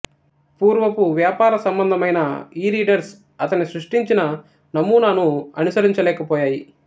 పూర్వపు వ్యాపార సంబంధమైన ఈరీడర్స్ అతని సృష్టించిన నమూనాను అనుసరించలేకపోయాయి